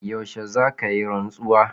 Yaushe za ka yi rantsuwa?